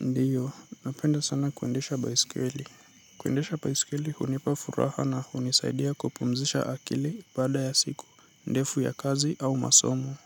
Ndiyo, napenda sana kuendesha baisikeli. Kuendesha baisikeli hunipa furaha na hunisaidia kupumzisha akili baada ya siku. Ndefu ya kazi au masomo.